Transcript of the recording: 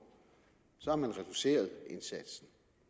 så har man reduceret indsatsen